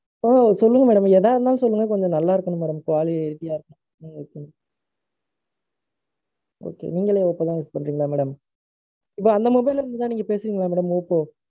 ஆஹ் சொல்லுங்க madam. எதா இருந்தாலும் சொல்லுங்க. கொஞ்சம் நல்லா இருக்கணும் madam. அப்போ வேல easy ஆ இருக்கும். உம் உம் Okay. நீங்களே இப்போ தான் work பண்றீங்களா madam? இப்போ அந்த mobile ல இருந்து தான் பேசுறீங்களா madam? ஒப்போ?